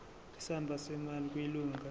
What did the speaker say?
isamba semali kwilunga